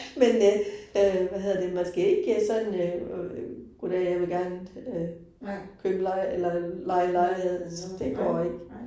Men øh øh hvad hedder det man skal ikke sådan øh goddag jeg vil gerne øh købe leje eller leje en lejlighed, så det går ikke